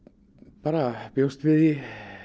bara bjóst við því